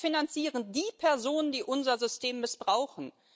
Wir finanzieren die Personen, die unser System missbrauchen.